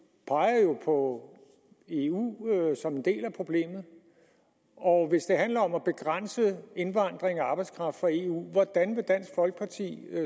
på eu som en del af problemet og hvis det handler om at begrænse indvandring af arbejdskraft fra eu hvordan vil dansk folkeparti